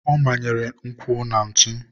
ọ manyere ụkwụ na ntụ.